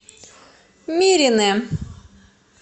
миринэ